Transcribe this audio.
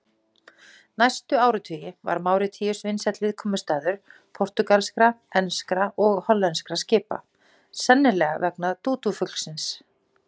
Næstu áratugi var Máritíus vinsæll viðkomustaður portúgalskra, enskra og hollenskra skipa, sennilega vegna dúdúfuglsins.